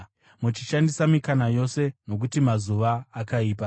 muchishandisa mikana yose, nokuti mazuva akaipa.